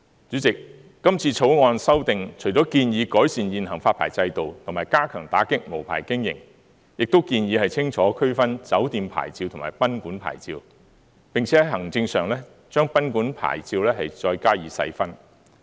主席，今次《條例草案》除了建議改善現行發牌制度及加強打擊無牌經營外，亦建議清楚區分酒店牌照及賓館牌照，並且在行政上，將賓館牌照再加以細分。